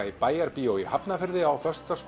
í Bæjarbíói í Hafnarfirði á föstudag